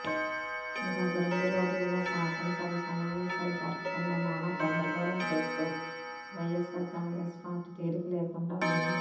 గత రెండు రోజులుగా శాసనసభ సమావేశాలు జరగకుండా నానా గందరగోళం చేస్తూ వైఎస్ఆర్ కాంగ్రెస్ పార్టీ తీరిక లేకుండా ఉంది